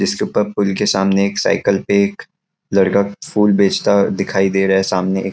जिसके ऊपर पूल के सामने एक साइकिल पे एक लड़का फूल बेचता दिखाई दे रहा सामने एक--